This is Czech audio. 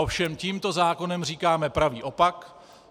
Ovšem tímto zákonem říkáme pravý opak.